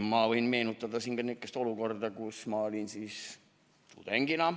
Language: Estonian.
Ma võin meenutada siin ka niisugust olukorda ajast, kui ma olin tudeng.